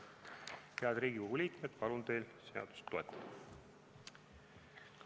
Head Riigikogu liikmed, palun teil seadust toetada!